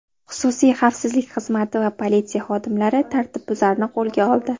Xususiy xavfsizlik xizmati va politsiya xodimlari tartibbuzarni qo‘lga oldi.